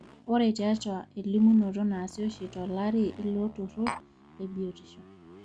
ore tiatua elimunoto naasi oshi tolarri ilo turrur lebiotishu